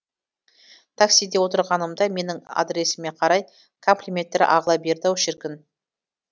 таксиде отырғанымда менің адресіме қарай комплименттер ағыла берді ау шіркін